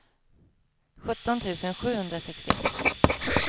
sjutton tusen sjuhundrasextioett